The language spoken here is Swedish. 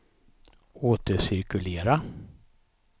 återcirkulera